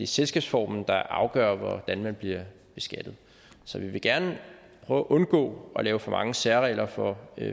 selskabsformen der afgør hvordan man bliver beskattet så vi vil gerne prøve at undgå at lave for mange særregler for